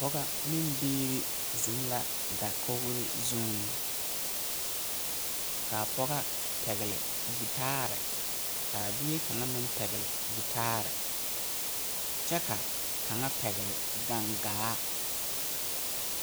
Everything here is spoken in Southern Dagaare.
Pɔgɔ ne biiri ziŋ la dakogre zuiŋ kaa pɔgɔ pɛgle gyitaare kaa bie kaŋa meŋ pɛgli gyitaare kyɛ ka kaŋa pɛgli gaŋgaa.